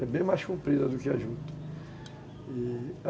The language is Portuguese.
É bem mais comprida do que a juta, e